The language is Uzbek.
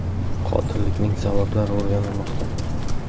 Qotillikning sabablari o‘rganilmoqda.